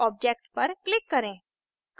object पर click करें